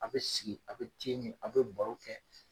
A' bɛ sigi a' bɛ te min a' bɛ baro kɛ.